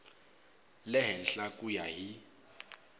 le henhla ku ya hi